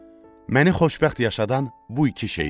Məni xoşbəxt yaşadan bu iki şey idi.